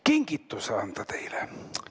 Kingituse anda teile!